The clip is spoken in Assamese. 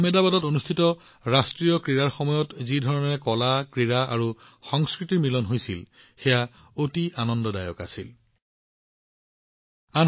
আহমেদাবাদত অনুষ্ঠিত ৰাষ্ট্ৰীয় ক্ৰীড়াৰ সময়ত যিদৰে কলা ক্ৰীড়া আৰু সংস্কৃতি একত্ৰিত হৈছিল ই সকলোকে আনন্দেৰে ভৰাই তুলিছিল